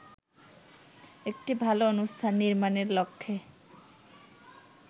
একটি ভালো অনুষ্ঠান নির্মাণের লক্ষ্যে